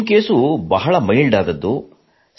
ನಿಮ್ಮ ಕೇಸ್ ಬಹಳ ಮೈಲ್ಡ್ ಆದದ್ದು